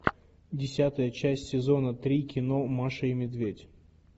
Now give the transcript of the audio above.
десятая часть сезона три кино маша и медведь